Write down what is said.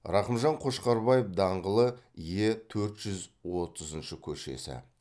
рақымжан қошқарбаев даңғылы е төрт жүз отызыншы көшесі